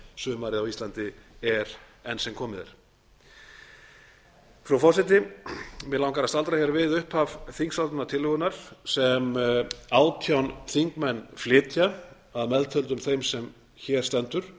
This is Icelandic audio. ferðasumarið á íslandi er enn sem komið er frú forseti mig langar að staldra hér við upphaf þingsályktunartillögunnar sem átján þingmenn flytja að meðtöldum þeim sem hér stendur